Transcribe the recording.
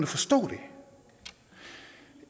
forstå det